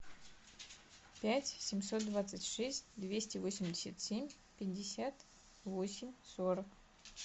пять семьсот двадцать шесть двести восемьдесят семь пятьдесят восемь сорок